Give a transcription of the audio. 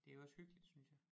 Det jo også hyggeligt synes jeg